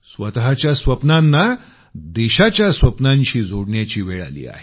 स्वतःच्या स्वप्नांना देशाच्या स्वप्नांशी जोडण्याची वेळ आली आहे